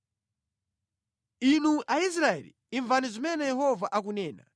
Inu Aisraeli, imvani zimene Yehova akunena.